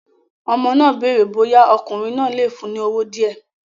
Ọmọ náà béèrè bóyá ọkùnrin náà lè fún un ní owó díẹ̀